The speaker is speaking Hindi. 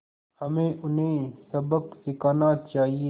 हमें उन्हें सबक सिखाना चाहिए